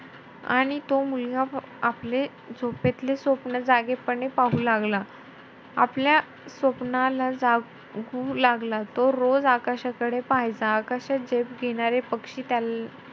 आणि तो मुलगा आपले झोपेंतले स्वप्न जागेपणी पाहू लागला. आपल्या स्वप्नाला जागु लागला. तो रोज आकाशाकडे पाहायचा. आकाशात झेप घेणारे पक्षी त्या,